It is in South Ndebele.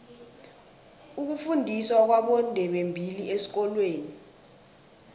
ukufundiswa kwabondebembili esikolweni